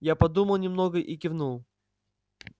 я подумал немного и кивнул